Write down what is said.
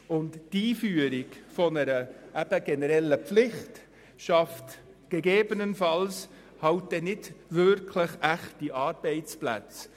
Die Einführung einer generellen Pflicht schafft gegebenenfalls nicht echte Arbeitsplätze.